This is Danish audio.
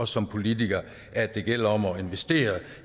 som politikere at det gælder om at investere